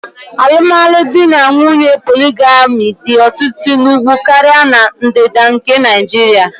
Alumdinanwunye poligami dị ọtụtụ n'Úgwú karịa na Ndịda nke Naịjiria